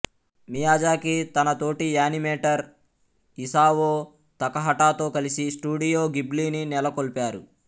Miyazaki తన తోటి animator Isao Takahata తో కలిసి స్టూడియో గిబ్లిని నెలకొల్పారు